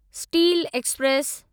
steel express